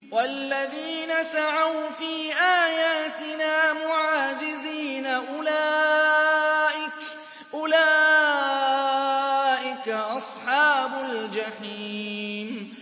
وَالَّذِينَ سَعَوْا فِي آيَاتِنَا مُعَاجِزِينَ أُولَٰئِكَ أَصْحَابُ الْجَحِيمِ